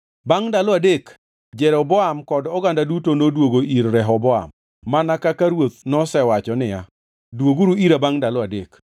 Bangʼ ndalo adek Jeroboam kod oganda duto noduogo ir Rehoboam mana kaka ruoth nosewacho niya, “Dwoguru ira bangʼ ndalo adek.”